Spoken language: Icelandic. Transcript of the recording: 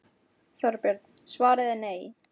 Þorbjörn: Svarið er nei?